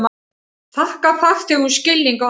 Þakka farþegum skilning á aðstæðum